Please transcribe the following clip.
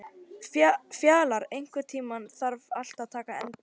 Fjalar, einhvern tímann þarf allt að taka enda.